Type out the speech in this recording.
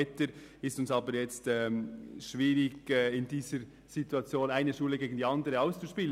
Es fällt uns schwer, die eine Schule gegen die andere auszuspielen.